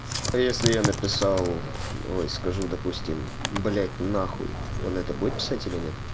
а если я написал ой скажу допустим блять нахуй он это будет писать или нет